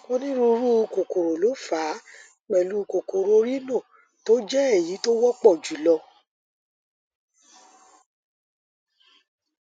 onírúurú kòkòrò ló fà á pẹlú kòkòrò rhino tó jẹ èyí tó wọpọ jùlọ